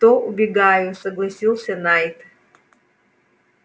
то убегаю согласился найд